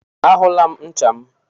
A hụla m ncha m.